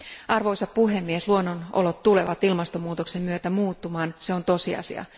Arvoisa puhemies, luonnonolot tulevat ilmastonmuutoksen myötä muuttumaan, se on tosiasia.